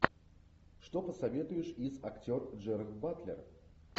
что посоветуешь из актер джерард батлер